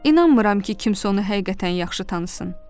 İnanmıram ki, kimsə onu həqiqətən yaxşı tanısın.